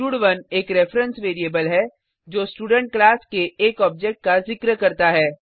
स्टड1 एक reference variable है जो स्टूडेंट क्लास के एक ऑब्जेक्ट का जिक्र करता है